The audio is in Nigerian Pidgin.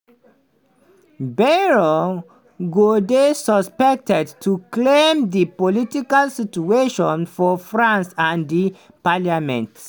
bayrou go dey expected to calm di political situation for france and di parliament.